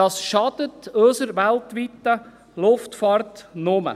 Das schadet unserer weltweiten Luftfahrt nur.